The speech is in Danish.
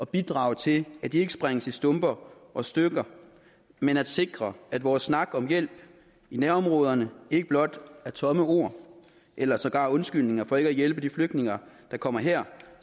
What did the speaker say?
bidrage til at de ikke sprænges i stumper og stykker men at sikre at vores snak om hjælp i nærområderne ikke blot er tomme ord eller sågar undskyldninger for ikke at hjælpe de flygtninge der kommer her